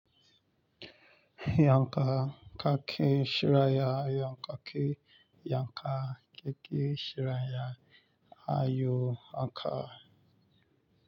Yanka kaki shiraya yanka ke yanka keke shiraya ayo anka.